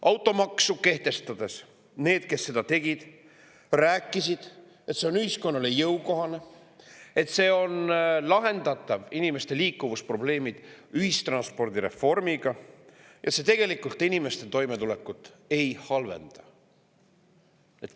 Automaksu kehtestades need, kes seda tegid, rääkisid, et see on ühiskonnale jõukohane, et inimeste liikumisprobleemid on lahendatavad ühistranspordi reformiga ja see tegelikult inimeste toimetulekut ei halvenda.